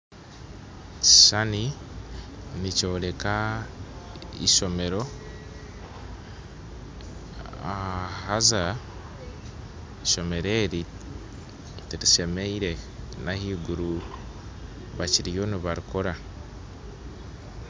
Ekishuushani nikyoreka ishomero haza ishomero eri tirishemeire n'ahaiguru bakiriyo nibarikora